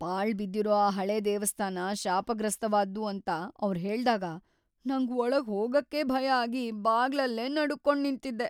ಪಾಳ್‌ಬಿದ್ದಿರೋ ಆ ಹಳೇ ದೇವಸ್ಥಾನ ಶಾಪಗ್ರಸ್ತವಾದ್ದು ಅಂತ‌ ಅವ್ರ್ ಹೇಳ್ದಾಗ ನಂಗ್‌ ಒಳಗ್‌ ಹೋಗಕ್ಕೇ ಭಯ ಆಗಿ ಬಾಗ್ಲಲ್ಲೇ ನಡುಗ್ಕೊಂಡ್ ನಿಂತಿದ್ದೆ.